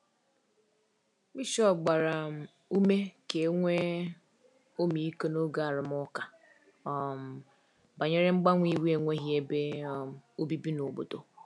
Bishọp gbara um ume ka e nwee ọmịiko n’oge arụmụka um banyere mgbanwe iwu enweghị ebe um obibi n’obodo.